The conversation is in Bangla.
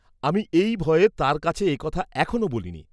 আমি এই ভয়ে তাঁর কাছে এ কথা এখনো বলি নি।